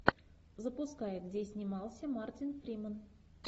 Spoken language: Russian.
запускай где снимался мартин фримен